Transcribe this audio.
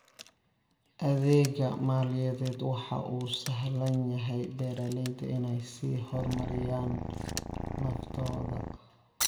Adeegga maaliyadeed waxa uu u sahlayaa beeralayda in ay sii horumariyaan naftooda.